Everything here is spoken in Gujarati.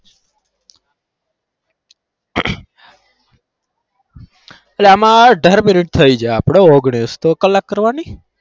તો આમાં અઢાર minute થઇ છે તો ઓગણીશ, કલાક કરવાની.